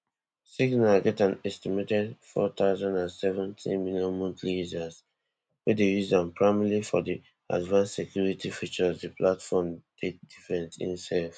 signal get an estimated four thousand and seventy million monthly users wey dey use am primarily for di advanced security features di platform take different imsef